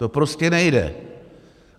To prostě nejde.